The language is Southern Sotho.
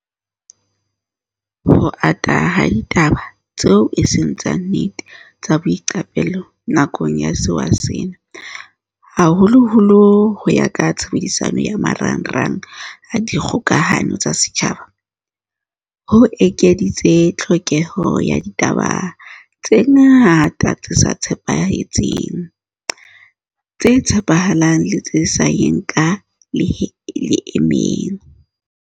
Ho ata ha ditaba tseo eseng tsa nnete tsa boiqapelo nakong ya sewa sena, haholoholo ho ya ka tshebediso ya ma rangrang a dikgokahano tsa setjhaba, ho ekeditse tlhokeho ya ditaba tse ngata tse nepahetseng, tse tshepa halang le tse sa yeng ka leeme.